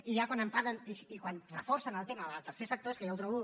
i ja quan em parlen i quan reforcen el tema del tercer sector és que ja ho trobo